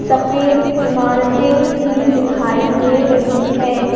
सफेद इमारतें भी दिखाई दे रही है।